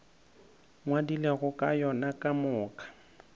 ngwadilego ka yona ka moka